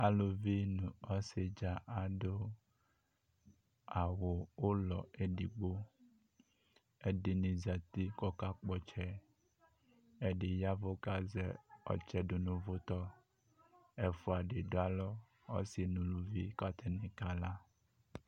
Aluvi nʋ ɔsɩdza adʋ awʋ ʋlɔ edigbo, ɛdɩnɩ zati k'akakpɔtsɛ, ɛdɩ yavʋ k'azɛ ɔtsɛ dʋ n'ʋvʋtɔ Ɛfua dɩ dʋ alɔ, ɔsɩ n'uluvi k'atanɩ kala